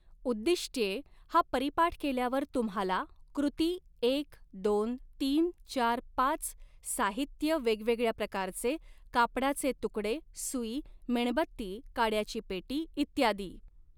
उद्दिष्ट्ये हा परीपाठ केल्यावर तुम्हाला, कृती एक दोन तीन चार पाच साहित्य वेगवेगळ्या प्रकारचे कापडाचे तुकडे सूई मेणबत्ती काड्याची पेटी इत्यादी.